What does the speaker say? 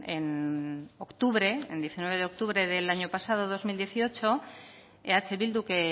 en octubre el diecinueve de octubre del año pasado dos mil dieciocho eh bildu que